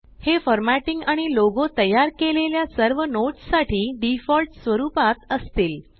हे फॉर्मॅटिंग आणि लोगो तयार केलेल्या सर्व नोट्स साठी डिफॉल्ट स्वरुपात असतील